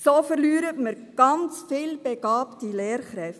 So verlieren wir ganz viele begabte Lehrkräfte.